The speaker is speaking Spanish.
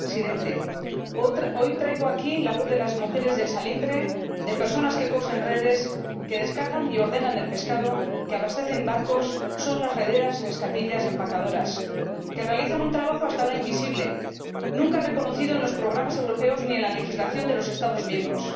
Señor Presidente, hoy traigo aquí la voz de las mujeres del salitre, de personas que cosen redes, que descargan y ordenan el pescado, que abastecen barcos son las rederas, neskatillas y empaquetadoras, que realizan un trabajo ―hasta ahora invisible― nunca reconocido en los programas europeos ni en la legislación de los Estados miembros.